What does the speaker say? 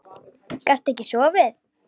Gastu ekki sofið?